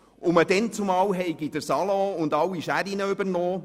Man habe damals den Salon und alle Scheren übernommen.